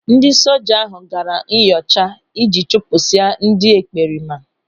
Ndị soja ahụ gaara nyocha iji chụpụsịa ndị ekperima.